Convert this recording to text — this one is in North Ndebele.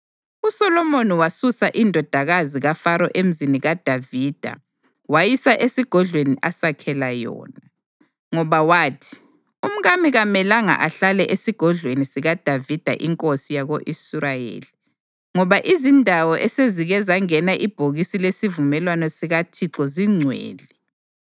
USolomoni wasusa indodakazi kaFaro eMzini kaDavida wayisa esigodlweni asakhela yona, ngoba wathi, “Umkami kamelanga ahlale esigodlweni sikaDavida inkosi yako-Israyeli, ngoba izindawo esezike zangena ibhokisi lesivumelwano sikaThixo zingcwele.”